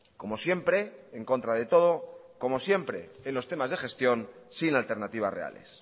como siempre en contra de todo como siempre en los temas de gestión sin alternativas reales